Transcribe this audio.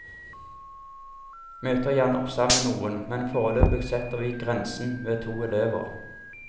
Møt gjerne opp sammen med noen, men foreløpig setter vi grensen ved to elever.